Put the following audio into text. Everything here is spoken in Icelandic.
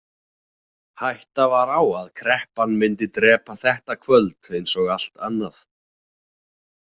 Hætta var á að kreppan myndi drepa þetta kvöld eins og allt annað.